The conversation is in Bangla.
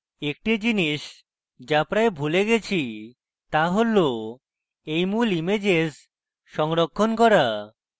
একটি জিনিস যা প্রায় ভুলে গেছি তা হল এই মূল ইমেজেস সংরক্ষণ করা